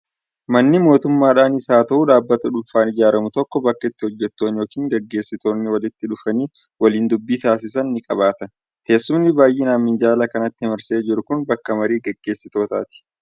Manni mootummaadhaanis haa ta'u, dhaabbata dhuunfaan ijaaramu tokko bakka itti hojjettoonnii yookiin gaggeessitoonni walitti dhufanii waliin dubbii taasisan ni qabaata. Teessumni baay'inaan minjaala kanatti marsee jiru kun bakka marii gaggeessistootaati.